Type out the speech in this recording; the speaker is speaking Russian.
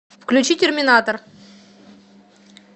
включи терминатор